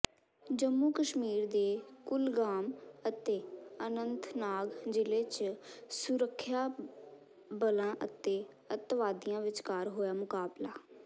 ਜੰਮੂ ਕਸ਼ਮੀਰ ਦੇ ਕੁਲਗਾਮ ਅਤੇ ਅਨੰਤਨਾਗ ਜ਼ਿਲ੍ਹੇ ਚ ਸੁਰੱਖਿਆ ਬਲਾਂ ਅਤੇ ਅੱਤਵਾਦੀਆਂ ਵਿਚਕਾਰ ਹੋਇਆ ਮੁਕਾਬਲਾ